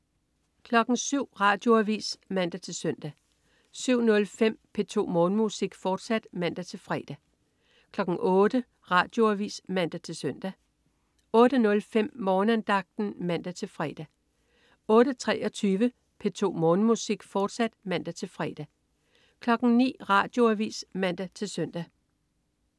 07.00 Radioavis (man-søn) 07.05 P2 Morgenmusik, fortsat (man-fre) 08.00 Radioavis (man-søn) 08.05 Morgenandagten (man-fre) 08.23 P2 Morgenmusik, fortsat (man-fre) 09.00 Radioavis (man-søn)